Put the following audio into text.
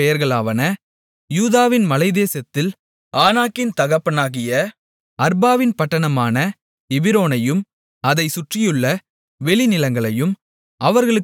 யூதாவின் மலைத்தேசத்தில் ஆனாக்கின் தகப்பனாகிய அர்பாவின் பட்டணமான எபிரோனையும் அதைச் சுற்றியுள்ள வெளிநிலங்களையும் அவர்களுக்குக் கொடுத்தார்கள்